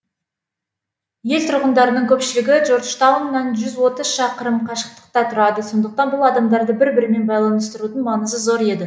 ел тұрғындарының көпшілігі джорджтауннан жүз отыз шақырым қашықтықта тұрады сондықтан бұл адамдарды бір бірімен байланыстырудың маңызы зор еді